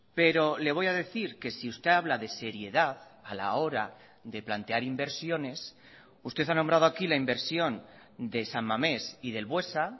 pero le voy a decir que si usted habla de seriedad a la hora de plantear inversiones usted ha nombrado aquí la inversión de san mamés y del buesa